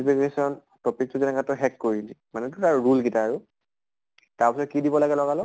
fiction topic টো যেনেকা তই শেষ কৰিলি মানে ধৰা rule গিতা আৰু তাৰ পিছত কি দিব লাগে লগা লগ?